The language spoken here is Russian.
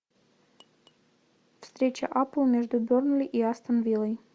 встреча апл между бернли и астон виллой